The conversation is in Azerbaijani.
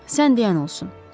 Sən deyən olsun.